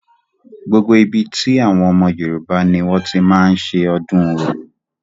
Gbogbo ibi tí àwọn ọmọ yorùbá ni wọ́n ti máa ń ṣe ọdún orò.